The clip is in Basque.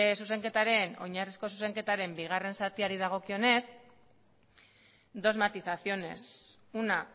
zure oinarrizko zuzenketaren bigarren zatiaren dagokionez dos matizaciones una